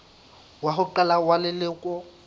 wa ho qala wa leloko